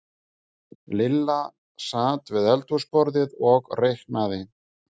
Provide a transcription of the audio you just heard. Lilla sat við eldhúsborðið og reiknaði.